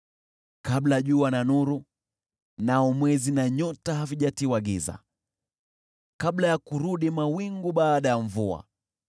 kabla jua na nuru, nao mwezi na nyota havijatiwa giza, kabla ya kurudi mawingu baada ya mvua;